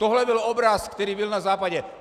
Tohle byl obraz, který byl na Západě.